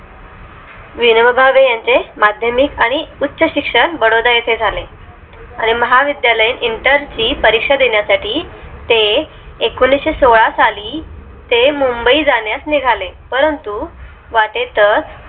विनोबा भावे यांचे माध्यमिक आणि उच्च शिक्षण बडोदा येथे झाले. आणि महाविद्यालयीन inter ची परीक्षा देण्यासाठी ते एकोणीशेसोळा साली ते मुंबई जाण्यास निघाले, परंतु वाटे तच